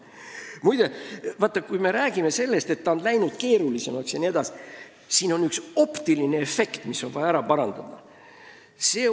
Muide, kui me räägime sellest, et uurimine on läinud keerulisemaks, siis siin on üks optiline efekt, mis on vaja ära parandada.